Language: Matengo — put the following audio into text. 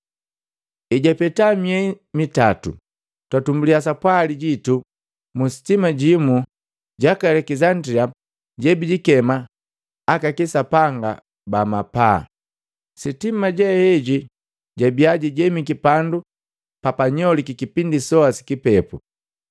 Ejapeta miei mitatu twatumbuliya sapwali jitu mu sitima limu laka Alekisandilia lebilikema, “Aka kisapanga ba mapaa” Sitima le heli labia lijemiki pandu papanyoliki kipindi soa si kipepu.